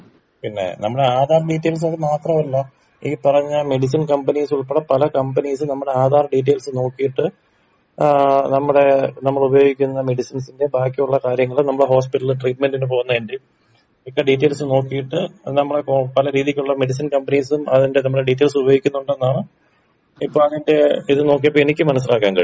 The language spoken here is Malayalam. പിന്നെ നമ്മളെ ആധാർ ഡീറ്റെയിൽസ് മാത്രമല്ല ഈ പറഞ്ഞ മെഡിസിൻ കമ്പനീസ് ഉൾപ്പടെ പല കമ്പനീസും നമ്മടെ ആധാർ ഡീറ്റെയിൽസ് നോക്കിയിട്ട് ഏ നമ്മടെ നമ്മള് ഉപയോഗിക്കുന്ന മെഡിസിൻസിന്റെ ബാക്കിയുള്ള കാര്യങ്ങളും നമ്മള് ഹോസ്പിറ്റലില് ട്രീറ്റ്മെന്റിന് പോവുന്നതന്റീം ഒക്കെ ഡീറ്റെയിൽസ് നോക്കീട്ട് നമ്മളെ കോ പല രീതീക്കുള്ള മെഡിസിൻസ് കമ്പനീസും അതിന്റെ നമ്മളെ ഡീറ്റെയിൽസ് ഉപയോഗി ക്കുണ്ടെന്നാണ് ഇപ്പോ അതിന്റെ ഇത് നോക്കിയപ്പോ എനിക്ക് മനസ്സിലാക്കാൻ കഴിഞ്ഞത്.